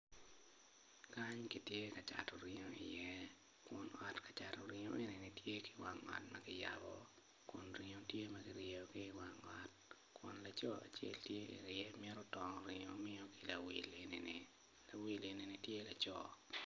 Kany kitye ka cato ringo iye kun ot cato ringo man tye ki wang ot ma kiyabo kun ringo tye ma kiryeyogi i wang ot kun laco acel tye otongo ringo mito miyone ki lawil eni lawil eni tye laco.